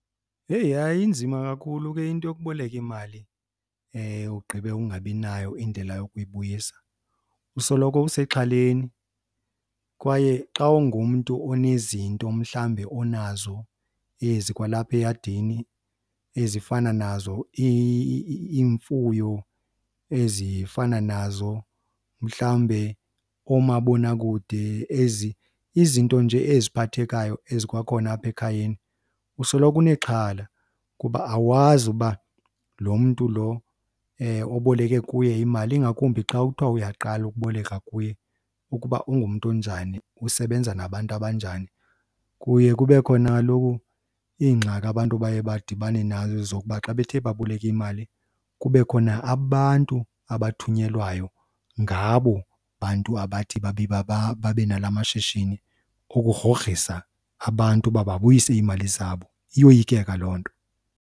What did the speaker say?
Heyi, hayi inzima kakhulu ke into yokuboleka imali ugqibe ungabi nayo indlela yokuyibuyisa, usoloko usexhaleni. Kwaye xa ungumntu onezinto mhlawumbe onazo ezikwalapha eyadini ezifana nazo iimfuyo ezifana nazo mhlawumbe oomabonakude ezi, izinto nje eziphathekayo ezikwakhona apha ekhayeni, usoloko unexhala. Kuba awazi uba lo mntu lo oboleke kuye imali, ingakumbi xa kuthiwa uyaqala ukuboleka kuye, ukuba ungumntu onjani usebenza nabantu abanjani. Kuye kube khona kaloku iingxaki abantu abaye badibane nazo zokuba xa bethe baboleka imali kube khona abantu abathunyelwayo ngabo bantu abathi babe babe nala mashishini ukugrogrisa abantu uba babuyise iimali zabo. Iyoyikeka loo nto.